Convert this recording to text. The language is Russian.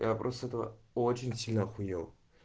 я просто этого очень сильно ахуел